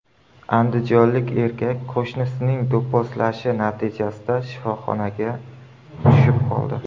Andijonlik erkak qo‘shnisining do‘pposlashi natijasida shifoxonaga tushib qoldi.